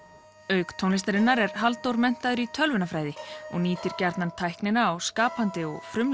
auk tónlistarinnar er Halldór menntaður í tölvunarfræði og nýtir gjarnan tæknina á skapandi